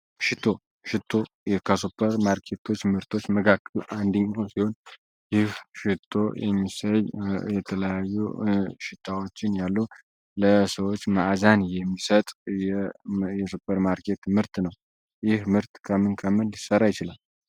ሽቶ ሽቶ ከሱፐር ማርኬት ምርቶች ውስጥ አንደኛው ሲሆን ሽቶ የተለያዩ መአዛዎችን ለሰው ልጅ የሚሰጥ እቃ ነው።